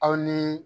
Aw ni